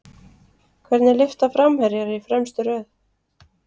Hvernig lyfta framherjar í fremstu röð?